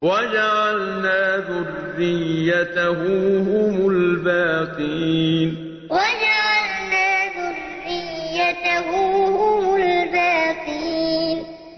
وَجَعَلْنَا ذُرِّيَّتَهُ هُمُ الْبَاقِينَ وَجَعَلْنَا ذُرِّيَّتَهُ هُمُ الْبَاقِينَ